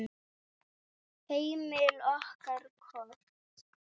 Heimild og kort